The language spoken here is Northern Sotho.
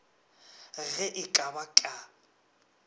ge e ka ba ka